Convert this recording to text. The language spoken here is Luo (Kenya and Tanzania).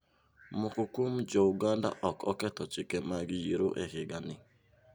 Moko kuom jouganda ok oketho chike mag yiero e higani.